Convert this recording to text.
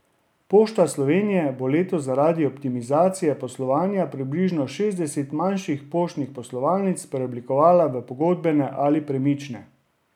Pošta Slovenije bo letos zaradi optimizacije poslovanja približno šestdeset manjših poštnih poslovalnic preoblikovala v pogodbene ali premične.